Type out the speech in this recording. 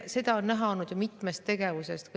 Seda on näha olnud ju mitmest tegevusest.